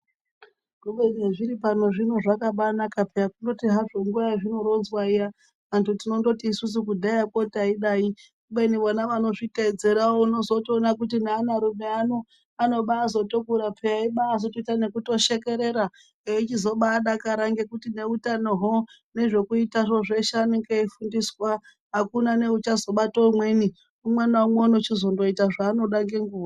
Kubeni hezviri pano zvino zvakabaanaka peya, kundoti hazvo nguwa yezvinoronzwa iya antu tinondoti isusu kudhaya kuyakwo taidai. Kubeni vona vanozviteedzeravo unotozoona nevanarume vanotobaazotokura peyaa veibatozoita nekubaatoshekerera eichizobaadakara nekuti neutano hwo nezvekuita zvo zveshe anenge eifundiswa. Akuna neuchazobata umweni, umwe naumwe unochizondoita zvaanoda ngenguwa.